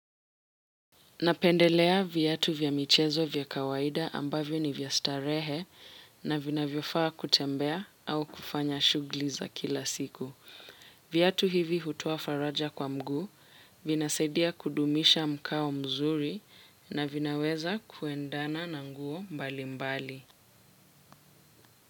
Napendelea viatu vya michezo vya kawaida ambavyo ni vya starehe na vinavyofaa kutembea au kufanya shughuli za kila siku. Viatu hivi hutoa faraja kwa mguu, vinasaidia kudumisha mkao mzuri na vinaweza kuendana na nguo mbali mbali.